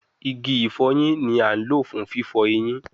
Igi ifoyin ni a lo fun fifọ eyin